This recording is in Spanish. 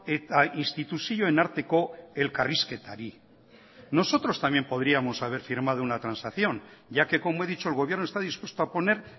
eta instituzioen arteko elkarrizketari nosotros también podríamos haber firmado una transacción ya que como he dicho el gobierno esta dispuesto a poner